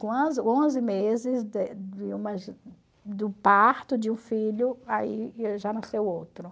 onze meses do parto de um filho, aí já nasceu outro.